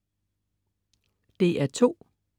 DR2: